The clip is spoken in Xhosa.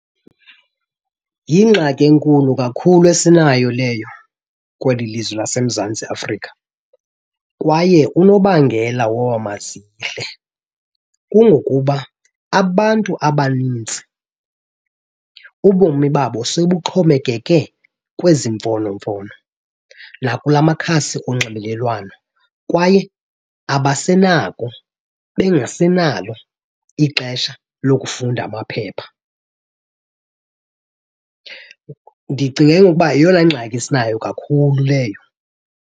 Yingxaki enkulu kakhulu esinayo leyo kweli lizwe laseMzantsi Afrika. Kwaye unobangela woba mazihle kungokuba abantu abanintsi ubomi babo sebuxhomekeke kwezi mfonomfono nakulaa makhasi onxibelelwano kwaye abasenako bengasenalo ixesha lokufunda amaphepha. Ndicinga ke ngoku uba yeyona ngxaki esinayo kakhulu leyo.